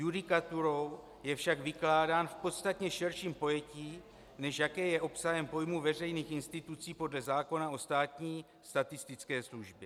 Judikaturou je však vykládán v podstatně širším pojetí, než jaké je obsahem pojmu veřejných institucí podle zákona o státní statistické službě.